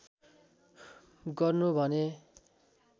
गर्नु भन्ने